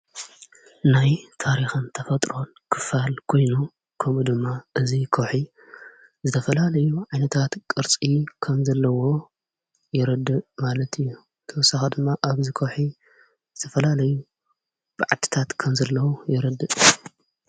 ናይ ታሪኸም ተፈጥሮን ክፋል ጐይኑ ከምኡ ድማ እዙይ ኮሒ ዘተፈላለዩ ዓይነታት ቅርጺ ኸምዘለዎ የረድእ ማለት እዩ ተወሳኻ ድማ ኣብዚ ኮውሒ ዝተፈላለዩ ብዓትታት ከምዘለዉ የረድእ።